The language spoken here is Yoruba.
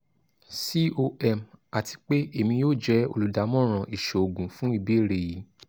com ati pe emi yoo jẹ oludamọran iṣoogun fun ibeere yii